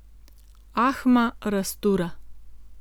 Ahma raztura.